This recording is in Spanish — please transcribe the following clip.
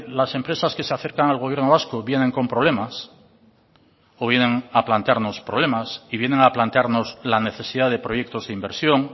las empresas que se acercan al gobierno vasco vienen con problemas o vienen a plantearnos problemas y vienen a plantarnos la necesidad de proyectos de inversión